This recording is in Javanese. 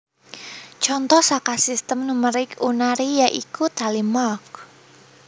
Conto saka Sistem numerik Unary ya iku Tally mark